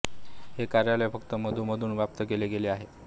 हे कार्यालय फक्त मधूनमधून व्याप्त केले गेले आहे